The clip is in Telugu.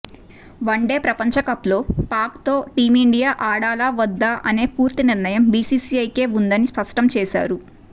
వన్డే ప్రపంచకప్లో పాక్తో టీమిండియా ఆడాలా వద్దా అనే పూర్తి నిర్ణయం బీసీసీఐకే ఉందని స్పష్టం చేశారు